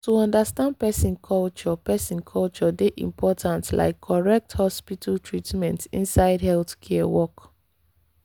to understand person culture person culture dey important like correct hospital treatment inside healthcare work.